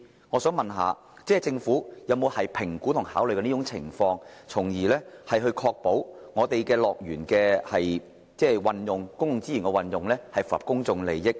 我想問政府會否評估及考慮這個情況，確保樂園運用公共資源時，符合公眾利益原則。